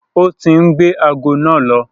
Ó ti ń gbé ago náà lọ.